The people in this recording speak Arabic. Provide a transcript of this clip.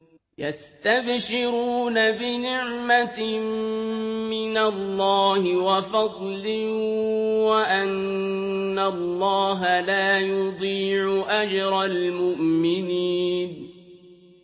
۞ يَسْتَبْشِرُونَ بِنِعْمَةٍ مِّنَ اللَّهِ وَفَضْلٍ وَأَنَّ اللَّهَ لَا يُضِيعُ أَجْرَ الْمُؤْمِنِينَ